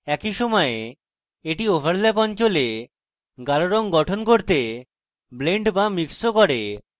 একই সময়ে at overlap অঞ্চলে গাঢ় রঙ গঠন করতে blends বা mixes ও করে